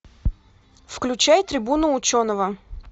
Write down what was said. включай трибуну ученого